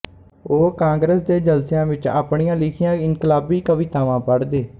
ਉਹ ਕਾਂਗਰਸ ਦੇ ਜਲਸਿਆਂ ਵਿੱਚ ਆਪਣੀਆਂ ਲਿਖੀਆਂ ਇਨਕਲਾਬੀ ਕਵਿਤਾਵਾਂ ਪੜ੍ਹਦੇ